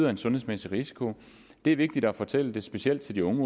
en sundhedsmæssig risiko det er vigtigt at fortælle det specielt til de unge